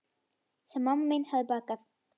Sem mamma mín hefði bakað.